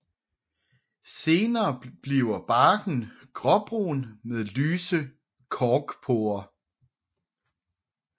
Senere bliver barken gråbrun med lyse korkporer